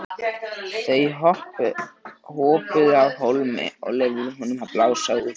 Þau hopuðu af hólmi og leyfðu honum að blása út.